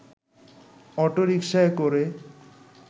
অটোরিকশায় করে